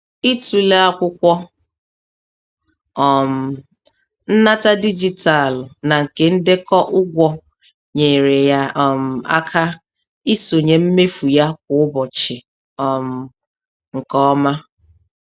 Ịtụle akwụkwọ um nnata dijitalụ na nke ndekọ ụgwọ nyere ya um aka isonye mmefu ya kwa ụbọchị um nke ọma.